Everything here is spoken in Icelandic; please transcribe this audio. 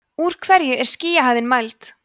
úr hverju er skýjahæðin mæld